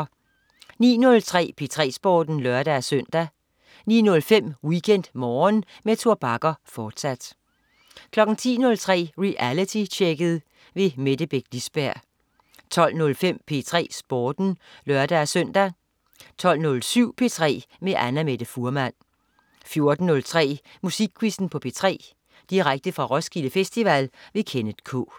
09.03 P3 Sporten (lør-søn) 09.05 WeekendMorgen med Tor Bagger, fortsat 10.03 Realitytjekket. Mette Beck Lisberg 12.05 P3 Sporten (lør-søn) 12.07 P3 med Annamette Fuhrmann 14.03 Musikquizzen på P3. Direkte fra Roskilde Festival. Kenneth K